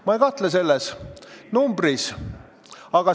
Ma ei kahtle selles numbris.